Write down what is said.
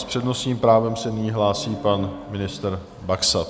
S přednostním právem se nyní hlásí pan ministr Baxa.